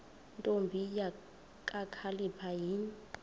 ntombi kakhalipha yini